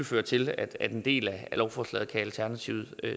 føre til at en del af lovforslaget kan alternativet